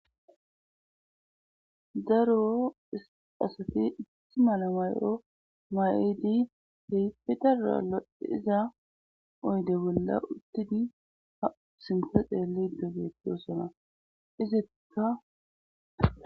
Daro asati issi mala mayo ma'idi heyssi daro assazi gidiza oyde bolla uttidi ha sinththa xeellosona izikka